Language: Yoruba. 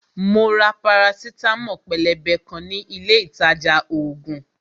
Mo ra parasitamo pélébé kan ní ilé ìtajà ògùn